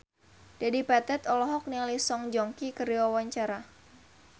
Dedi Petet olohok ningali Song Joong Ki keur diwawancara